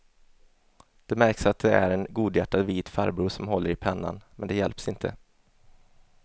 Det märks att det är en godhjärtad vit farbror som håller i pennan, men det hjälps inte.